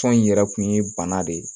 Tɔn in yɛrɛ kun ye bana de ye